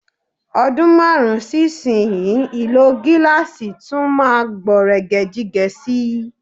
Ọdún márùn-ún sí ìsinyii, ìlò gáàsì tún máa gbọ̀nrẹ̀gẹ̀jigẹ̀ sí i.